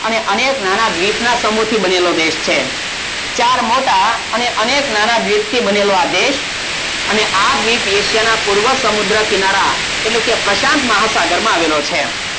અનેક નાના દ્વીપ ના સમૂહ થી બનેલો દેશ છે ચાર મોટા અને અનેક નાના દ્વીપ થી બનેલો આ દેશ સમુદ્ર ના પૂર્વ કિનારે એટલે કે પ્રશાંતમહાસાગરે આવેલો છે